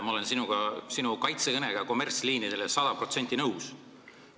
Ma olen sinu kaitsekõnega kommertsliinidele sada protsenti nõus.